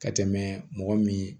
Ka tɛmɛ mɔgɔ min